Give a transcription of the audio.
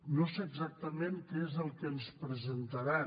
no sé exactament què és el que ens presentaran